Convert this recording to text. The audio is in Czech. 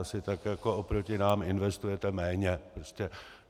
Asi tak jako oproti nám investujete méně.